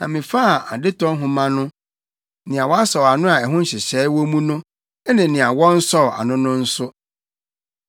Na mefaa adetɔ nhoma no, nea wɔasɔw ano a ɛho nhyehyɛe wɔ mu no, ne nea wɔnsɔw ano no nso,